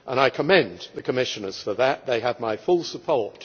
I commend the Commissioners for that, and they have my full support.